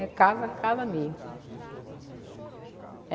É casa, casa mesmo.